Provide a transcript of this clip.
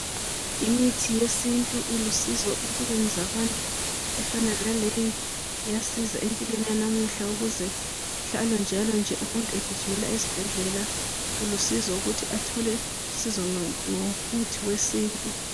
imithi yesintu ilusizo empilweni zabantu efana naleyi iyasiza empilweni yanamuhla kuhlale njalo nje umuntu egijimela esibhedlela kulusizo ukuthi athole uszo ngomuthi wesintu